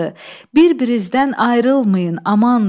Bir-birinizdən ayrılmayın, amandır!